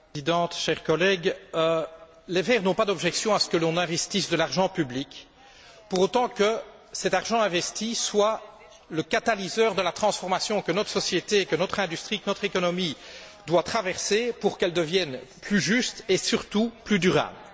Madame la Présidente, chers collègues, les Verts n'ont pas d'objection à ce que l'on investisse de l'argent public, pour autant que cet argent investi soit le catalyseur de la transformation que notre société, que notre industrie, que notre économie doivent traverser pour qu'elles deviennent plus justes et surtout plus durables.